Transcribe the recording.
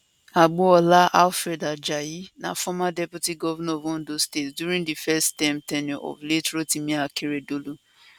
agboola alfred ajayi na former deputy governor of ondo state during di first term ten ure of late rotimi akeredolu